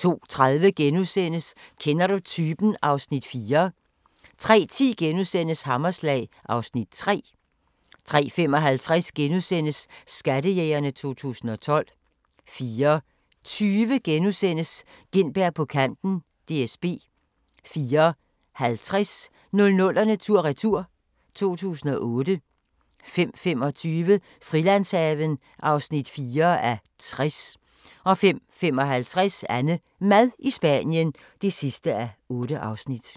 02:30: Kender du typen? (Afs. 4)* 03:10: Hammerslag (Afs. 3)* 03:55: Skattejægerne 2012 * 04:20: Gintberg på kanten - DSB * 04:50: 00'erne tur-retur: 2008 05:25: Frilandshaven (4:60) 05:55: AnneMad i Spanien (8:8)